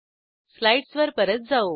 स्लाईडसवर परत जाऊ